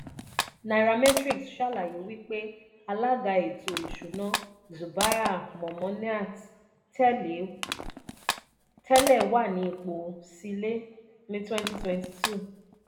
nairametrics ṣàlàyé wípé alaga eto isuna zubair momoniat tẹ́lẹ̀ wà ní ipò sílè ni twenty twenty two.